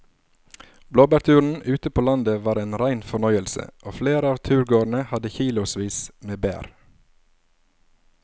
Blåbærturen ute på landet var en rein fornøyelse og flere av turgåerene hadde kilosvis med bær.